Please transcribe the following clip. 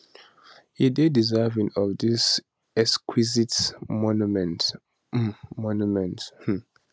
e dey deserving of dis exquisite monument um monument um